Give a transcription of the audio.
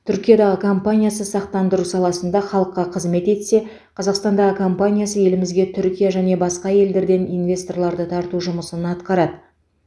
түркиядағы компаниясы сақтандыру саласында халыққа қызмет етсе қазақстандағы компаниясы елімізге түркия және басқа елдерден инвесторларды тарту жұмысын атқарады